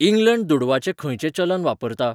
England दुडवाचें खंयचें चलन वापरता?